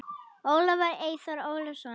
Ólafur Eyþór Ólason.